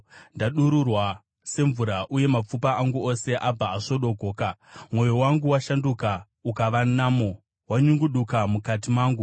Ndadururwa semvura, uye mapfupa angu ose abva asvodogoka. Mwoyo wangu washanduka ukava namo; wanyungudika mukati mangu.